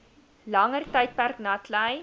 langer tydperk natlei